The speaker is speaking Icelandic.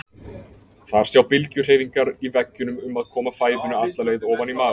Þar sjá bylgjuhreyfingar í veggjunum um að koma fæðunni alla leið ofan í maga.